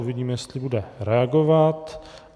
Uvidíme, jestli bude reagovat.